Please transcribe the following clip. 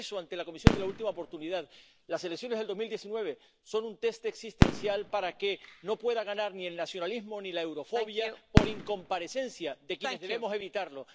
Por eso, ante la Comisión de la última oportunidad, las elecciones del 2019 son un test existencial para que no pueda ganar ni el nacionalismo ni la eurofobia por incomparecencia de quienes debemos evitarlo.